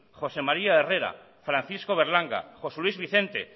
josé maría herrera francisco berlanga josé luis vicente